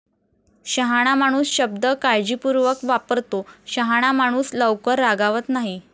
शहाणा माणूस शब्द काळजीपूर्वक वापरतो. शहाणा माणूस लवकर रागावत नाही.